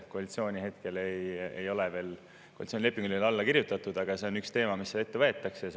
Koalitsioonilepingule ei ole veel alla kirjutatud, aga see on üks teema, mis seal ette võetakse.